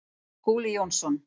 Skúli Jónsson